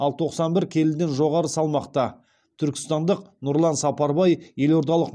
ал тоқсан бір келіден жоғары салмақта түркістандық нұрлан сапарбай елордалық